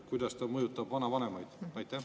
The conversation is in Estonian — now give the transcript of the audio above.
Kuidas ta mõjutab vanavanemaid?